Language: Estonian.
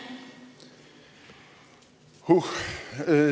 Uh!